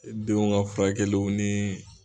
Denw ka furakɛliw ni